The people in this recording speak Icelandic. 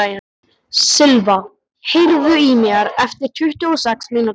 Silva, heyrðu í mér eftir tuttugu og sex mínútur.